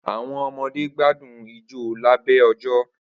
Awọn ọmọde gbadun ijó labẹ ojo